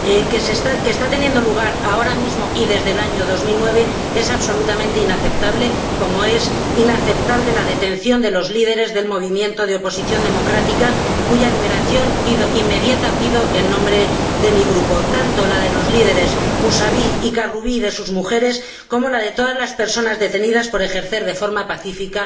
que está teniendo lugar ahora mismo y desde el año 2009, es absolutamente inaceptable, como es inaceptable la detención de los líderes del movimiento de oposición democrática, cuya liberación inmediata pido en nombre de mi Grupo, tanto la de los líderes Musavi y Karubi y de sus mujeres, como la de todas las personas detenidas por ejercer de forma pacífica